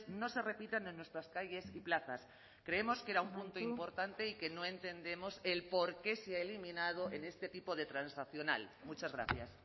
no se repitan en nuestras calles y plazas creemos que era un punto importante y que no entendemos el porqué se ha eliminado en este tipo de transaccional muchas gracias